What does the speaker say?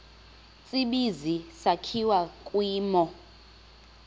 tsibizi sakhiwa kwimo